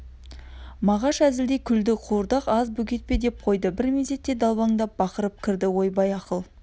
мағаш әзілдей күлді қуырдақ аз бөгет пе деп қойды бір мезетте далбандап бақырып кірді ойбай ақыл